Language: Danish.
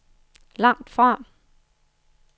langtfra